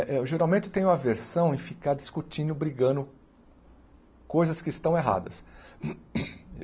Eh eu geralmente tenho aversão em ficar discutindo, brigando coisas que estão erradas.